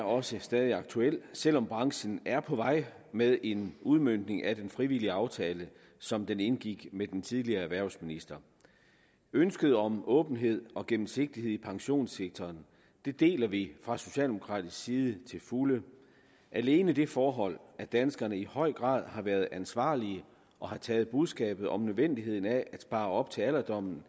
også stadig aktuelt selv om branchen er på vej med en udmøntning af den frivillige aftale som den indgik med den tidligere erhvervsminister ønsket om åbenhed og gennemsigtighed i pensionssektoren deler vi fra socialdemokratisk side til fulde alene det forhold at danskerne i høj grad har været ansvarlige og har taget budskabet om nødvendigheden af at spare op til alderdommen